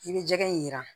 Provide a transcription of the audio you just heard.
I bɛ jɛgɛ in jira